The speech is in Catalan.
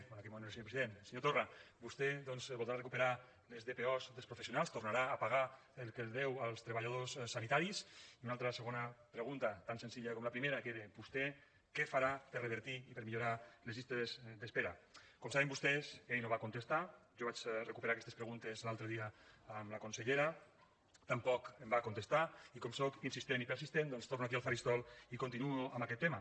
bé en aquell moment no era senyor president senyor torra vostè doncs voldrà recuperar les dpo dels professionals tornarà a pagar el que deu als treballadors sanitaris i una altra segona pregunta tan senzilla com la primera que era vostè què farà per revertir i per millorar les llistes d’espera com saben vostès ell no va contestar jo vaig recuperar aquestes preguntes l’altre dia amb la consellera tampoc em va contestar i com soc insistent i persistent doncs torno aquí al faristol i continuo amb aquest tema